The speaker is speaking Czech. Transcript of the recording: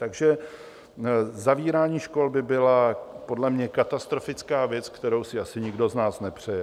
Takže zavírání škol by byla podle mě katastrofická věc, kterou si asi nikdo z nás nepřeje.